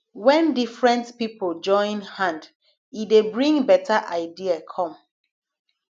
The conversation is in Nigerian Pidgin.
when different pipo join hand e dey bring better idea come